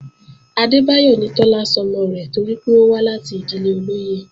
Adébáyọ̀ ni Tọ́lá sọmọ rẹ̀ torí pé ó wá láti ìdílé olóyè